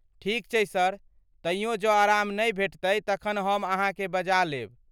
ठीक छै सर, तइयो जँ आराम नहि भेटतै तखन हम अहाँके बजा लेब।